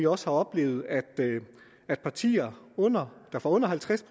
også oplevet at at partier der får under halvtreds